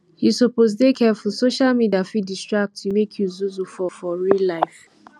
you suppose dey careful social media fit distract you make you zuzu for for real life